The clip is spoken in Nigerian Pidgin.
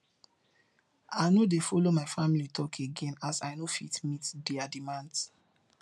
i no dey folo my family talk again as i no fit meet there demands